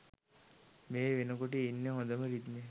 මේ වෙනකොට ඉන්නෙ හොඳම රිද්මයක.